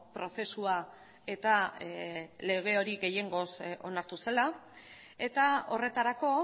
prozesua eta lege hori gehiengoz onartu zela eta horretarako